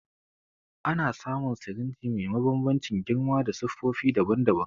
Ana samu sirinji me mabanbancin girma da siffofi daban-daban.